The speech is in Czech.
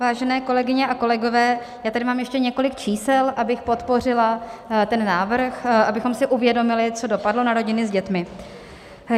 Vážené kolegyně a kolegové, já tady mám ještě několik čísel, abych podpořila ten návrh, abychom si uvědomili, co dopadlo na rodiny s dětmi.